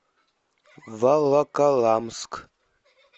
волоколамск